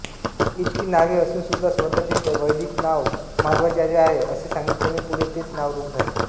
इतकी नावे असूनसुद्धा स्वतःचे वैदिक नाव मध्वाचार्य आहे असे सांगितल्याने पुढे तेच नाव रूढ झाले